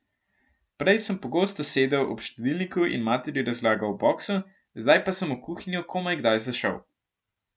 Prej sem pogosto sedel ob štedilniku in materi razlagal o boksu, zdaj pa sem v kuhinjo komaj kdaj zašel.